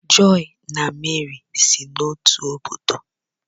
joy na Meri si n'otu obodo